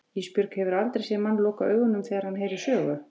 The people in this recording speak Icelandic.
Ísbjörg, hefurðu aldrei séð mann loka augunum þegar hann heyrir sögu?